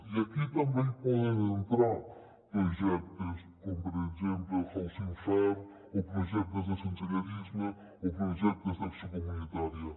i aquí també hi poden entrar projectes com per exemple el housing first o projectes de sensellarisme o projectes d’acció comunitària